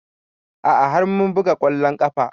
A'a har mun buga ƙwallon ƙafa